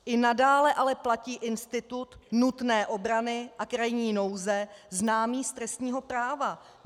I nadále ale platí institut nutné obrany a krajní nouze známý z trestního práva.